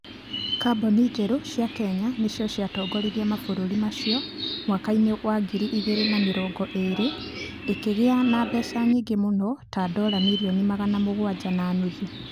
Kambuni njerũ cia Kenya nĩcio ciatongoririe mabũrũri macio mwaka-inĩ wa ngiri igĩrĩ na mĩrongo ĩĩrĩ, ikĩgĩa na mbeca nyingĩ mũno ta dola milioni magana mũgwanja na nuthu.